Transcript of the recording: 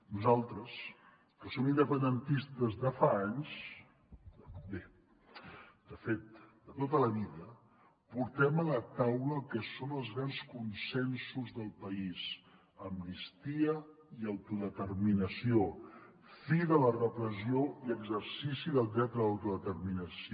nosaltres que som independentistes de fa anys bé de fet de tota la vida portem a la taula el que són els grans consensos del país amnistia i autodeterminació fi de la repressió i exercici del dret a l’autodeterminació